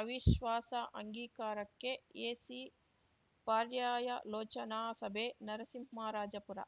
ಅವಿಶ್ವಾಸ ಅಂಗೀಕಾರಕ್ಕೆ ಎಸಿ ಪರ್ಯಾಯಲೋಚನಾ ಸಭೆ ನರಸಿಂಹರಾಜಪುರ